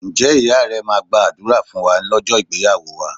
Ǹjẹ́ iya rẹ máa gbàdúrà fún wa lọ́jọ́ ìgbéyàwó wa